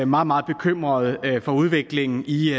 meget meget bekymret for udviklingen i